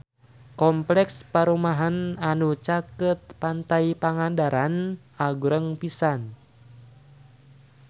Kompleks perumahan anu caket Pantai Pangandaran agreng pisan